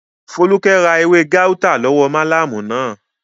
Fólúkẹ́ ra ewé gáútà látọwọ́ málámù náà